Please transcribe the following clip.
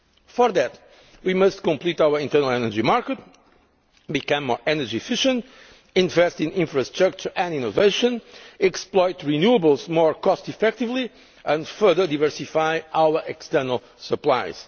For that, we must complete our internal energy market, become more energy efficient, invest in infrastructure and innovation, exploit renewables more cost effectively and further diversify our external supplies.